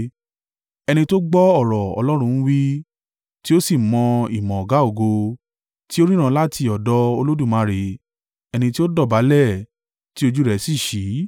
ẹni tó gbọ́ ọ̀rọ̀ Ọlọ́run ń wí, tí ó sì mọ ìmọ̀ Ọ̀gá-ògo, tí ó ríran láti ọ̀dọ̀ Olódùmarè, ẹni tí ó dọ̀bálẹ̀, tí ojú rẹ̀ sì ṣí: